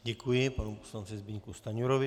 Děkuji panu poslanci Zbyňku Stanjurovi.